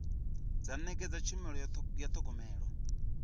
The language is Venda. dza nekedza tshumelo ya thogomelo